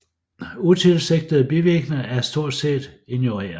Utilsigtede bivirkninger er stort set ignoreret